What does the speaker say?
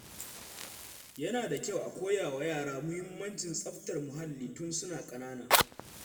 Yana da kyau a koya wa yara muhimmancin tsaftar muhalli tun suna ƙanana.